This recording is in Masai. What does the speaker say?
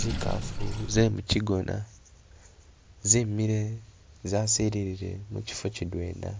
Zikaafu ze mukigona zimile zasilile mukifo kidwena